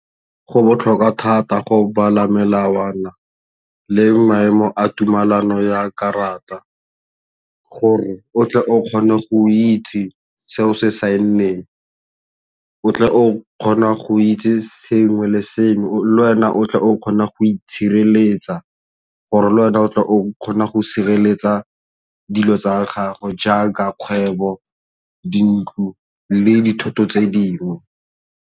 Go botlhokwa thata go bala melawana le maemo a tumelano ya karata gore o tle o kgone go itse seo se saenneng, o tle o kgona go itse sengwe le sengwe le wena o tle o kgona go itshireletsa gore le wena o tle o kgone go sireletsa dilo tsa gago jaaka kgwebo dintlo le dithoto tse dingwe.